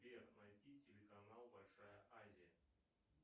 сбер найди телеканал большая азия